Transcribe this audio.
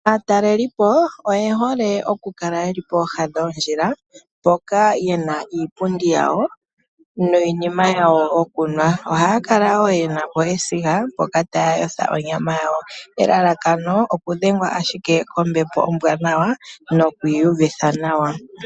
Aatalelipo oye hole okukala yeli pooha dhoondjila mpoka yena iipundi yawo niinima yawo yokunwa. Ohaya kala woo yenapo esiga taya yotha onyama yawo elalakano okudhengwa ashike kombepo ombwanawa noku iyuvitha nawa.